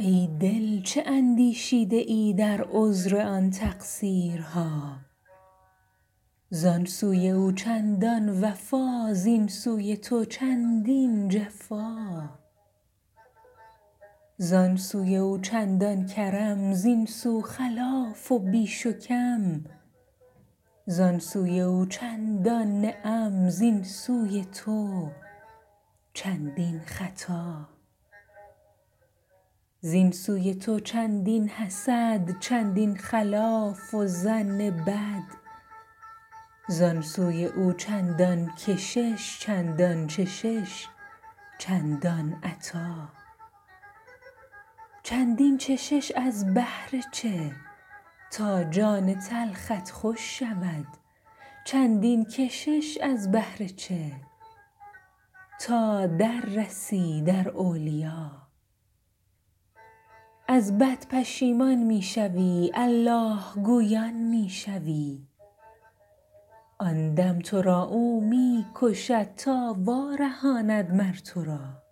ای دل چه اندیشیده ای در عذر آن تقصیرها زان سوی او چندان وفا زین سوی تو چندین جفا زان سوی او چندان کرم زین سو خلاف و بیش و کم زان سوی او چندان نعم زین سوی تو چندین خطا زین سوی تو چندین حسد چندین خیال و ظن بد زان سوی او چندان کشش چندان چشش چندان عطا چندین چشش از بهر چه تا جان تلخت خوش شود چندین کشش از بهر چه تا در رسی در اولیا از بد پشیمان می شوی الله گویان می شوی آن دم تو را او می کشد تا وارهاند مر تو را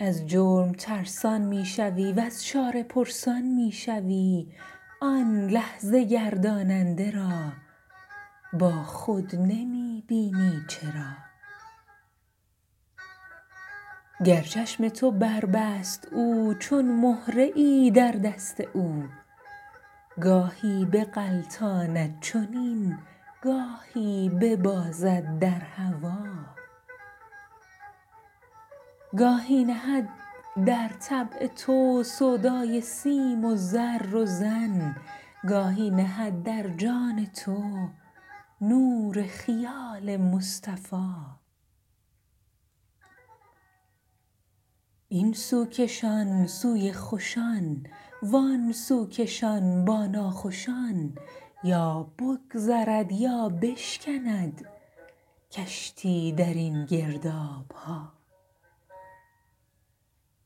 از جرم ترسان می شوی وز چاره پرسان می شوی آن لحظه ترساننده را با خود نمی بینی چرا گر چشم تو بربست او چون مهره ای در دست او گاهی بغلطاند چنین گاهی ببازد در هوا گاهی نهد در طبع تو سودای سیم و زر و زن گاهی نهد در جان تو نور خیال مصطفیٰ این سو کشان سوی خوشان وان سو کشان با ناخوشان یا بگذرد یا بشکند کشتی در این گرداب ها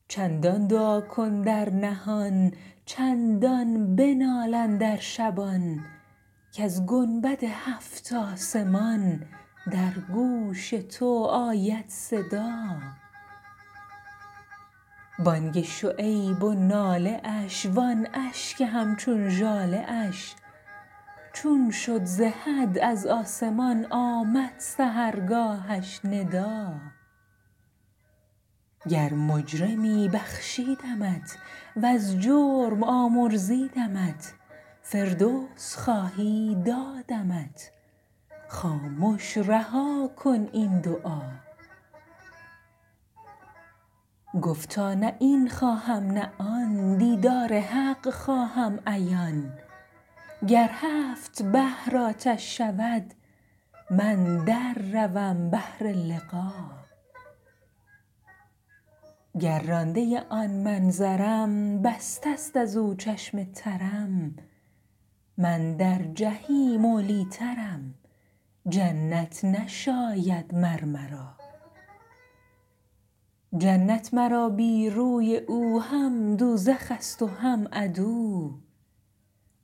چندان دعا کن در نهان چندان بنال اندر شبان کز گنبد هفت آسمان در گوش تو آید صدا بانگ شعیب و ناله اش وان اشک همچون ژاله اش چون شد ز حد از آسمان آمد سحرگاهش ندا گر مجرمی بخشیدمت وز جرم آمرزیدمت فردوس خواهی دادمت خامش رها کن این دعا گفتا نه این خواهم نه آن دیدار حق خواهم عیان گر هفت بحر آتش شود من در روم بهر لقا گر رانده آن منظرم بسته است از او چشم ترم من در جحیم اولی ٰترم جنت نشاید مر مرا جنت مرا بی روی او هم دوزخ ست و هم عدو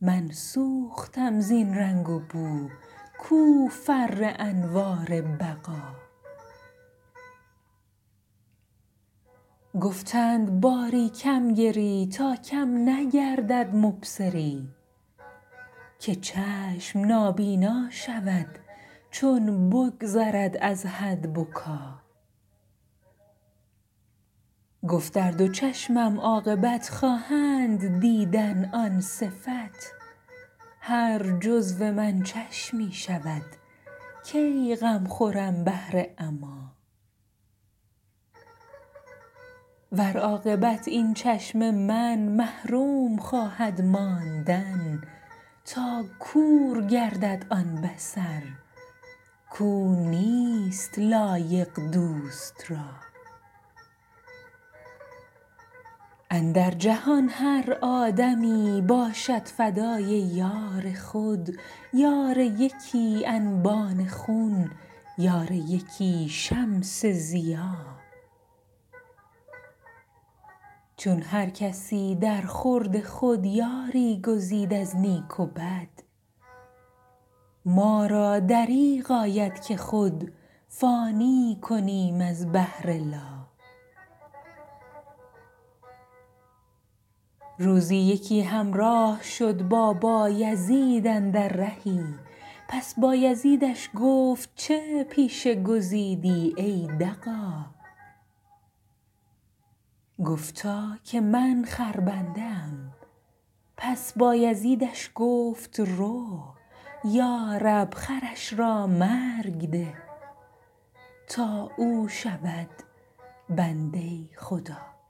من سوختم زین رنگ و بو کو فر انوار بقا گفتند باری کم گری تا کم نگردد مبصری که چشم نابینا شود چون بگذرد از حد بکا گفت ار دو چشمم عاقبت خواهند دیدن آن صفت هر جزو من چشمی شود کی غم خورم من از عمیٰ ور عاقبت این چشم من محروم خواهد ماندن تا کور گردد آن بصر کو نیست لایق دوست را اندر جهان هر آدمی باشد فدای یار خود یار یکی انبان خون یار یکی شمس ضیا چون هر کسی درخورد خود یاری گزید از نیک و بد ما را دریغ آید که خود فانی کنیم از بهر لا روزی یکی همراه شد با بایزید اندر رهی پس بایزیدش گفت چه پیشه گزیدی ای دغا گفتا که من خربنده ام پس بایزیدش گفت رو یا رب خرش را مرگ ده تا او شود بنده خدا